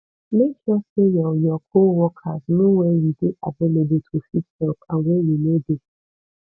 make sure say your your co workers know when you de available to fit help and when you no de